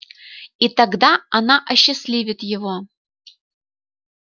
и тогда она осчастливит его